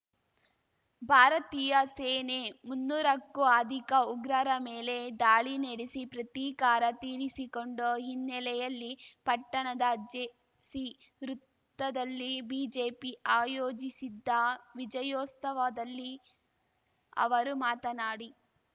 ಭಾರತೀಯ ಸೇನೆ ಮುನ್ನೂರಕ್ಕೂ ಅಧಿಕ ಉಗ್ರರ ಮೇಲೆ ದಾಳಿ ನಡೆಸಿ ಪ್ರತೀಕಾರ ತೀರಿಸಿಕೊಂಡ ಹಿನ್ನೆಲೆಯಲ್ಲಿ ಪಟ್ಟಣದ ಜೇಸಿ ವೃತ್ತದಲ್ಲಿ ಬಿಜೆಪಿ ಆಯೋಜಿಸಿದ್ದ ವಿಜಯೋಸ್ತವದಲ್ಲಿ ಅವರು ಮಾತನಾಡಿ